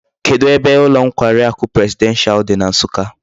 Kedu ebe ulo nkwari aku presidential di na nsukka?